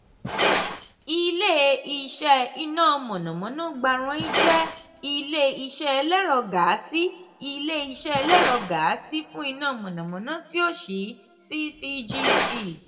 ile-iṣẹ iná mọ̀nàmọ́ná gbarain jẹ ile-iṣẹ ẹlẹ́rọ gáàsì ile-iṣẹ ẹlẹ́rọ gáàsì fún iná mọ̀nàmọ́ná ti o ṣii ccgt.